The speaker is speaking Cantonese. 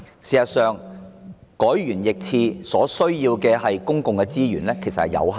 事實上，就此事而言，政府改弦易轍所需要的公共資源有限。